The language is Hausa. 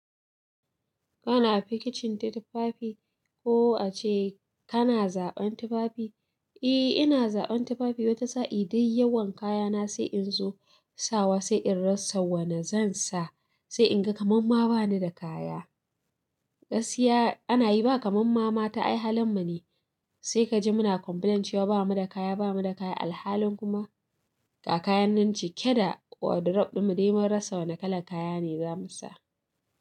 Kana a fikicin tufafi ko a ce kana zaɓen tufafi? E, ina zaɓen tufafi wata sa'i dai yawan kayana sai in zo sawa, sai in rasa wane zan sa, sai in ga kaman ma bani da kaya. Gaskiya ana yi ba kaman ma mata ai halin mu ne. Sai ka ji muna complain cewa ba mu da kaya, ba mu da kaya. Alhalin kuma. Ga kayan nan cike da wardrobe ɗinmu, dai mun rasa wanne kalan kaya ne za mu sa.